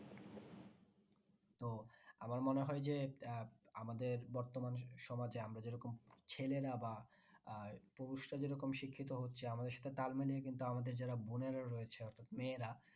আমার মনে হয় যে আহ আমাদের বর্তমান সমাজে আমরা যেরকম ছেলেরা বা আহ পুরুষরা যে রকম শিক্ষিত হচ্ছে আমাদের সাথে তাল মিলিয়ে কিন্তু আমাদের যারা বোনেরা রয়েছে মেয়েরা।